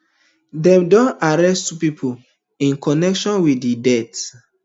dem don arrest two policemen in connection wit di death